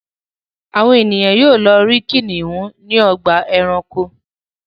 Àwọn ènìyàn yóò lọ rí kìnnìún ní ọgbà-ẹranko.